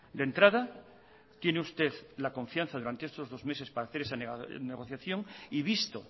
de entrada tiene usted la confianza durante estos dos meses para hacer esa negociación y visto